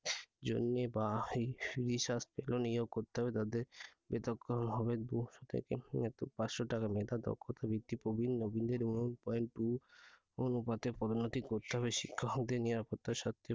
গবেষণার জন্যে বা researcher নিয়োগ করতে হবে তাদের পৃথক করণ হবে দুশ থেকে পাঁচশো টাকা মেধা দক্ষতার ভিত্তিতে প্রবীণ-নবীনদের এবং point two অনুপাতে পদোন্নতি করতে হবে। শিক্ষকদের নিরাপত্তার স্বার্থে